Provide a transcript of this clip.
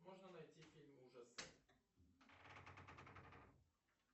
можно найти фильм ужасов